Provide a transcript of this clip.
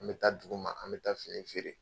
An mi taa duguma, an mi taa fini feere